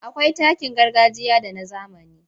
Akwai takin gargajiya da na zamani.